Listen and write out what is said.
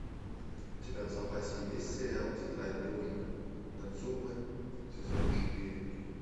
у тебя в запасе есть сериал тетрадь дружбы нацумэ сезон четыре